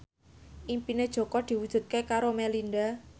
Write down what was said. impine Jaka diwujudke karo Melinda